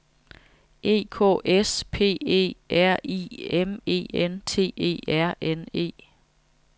E K S P E R I M E N T E R N E